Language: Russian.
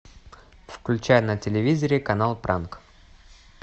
включай на телевизоре канал пранк